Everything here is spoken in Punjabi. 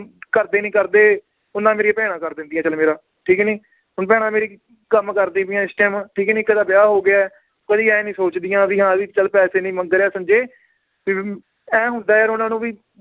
ਘਰਦੇ ਨੀ ਕਰਦੇ ਓਨਾ ਮੇਰੀਆਂ ਭੈਣਾਂ ਕਰ ਦਿੰਦਿਆਂ ਚੱਲ ਮੇਰਾ ਠੀਕ ਨੀ ਹੁਣ ਭੈਣਾਂ ਮੇਰੀ ਕੰਮ ਕਰਦੀ ਪਈਆਂ ਇਸ time ਠੀਕ ਨੀ ਇੱਕ ਦਾ ਵਿਆਹ ਹੋ ਗਿਆ ਹੈ, ਕਦੀ ਇਹ ਨੀ ਸੋਚਦੀਆਂ ਵੀ ਹਾਂ ਵੀ ਚੱਲ ਪੈਸੇ ਨੀ ਮੰਗ ਰਿਹਾ ਸੰਜੇ ਫਿਰ ਵੀ ਏਂ ਹੁੰਦਾ ਯਾਰ ਉਹਨਾਂ ਨੂੰ ਵੀ